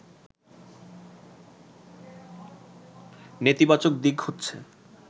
“নেতিবাচক দিক হচ্ছে